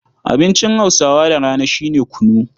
Abincin Hausawa da rana shi ne kunu.